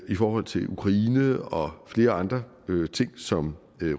forhold til ukraine og flere andre ting som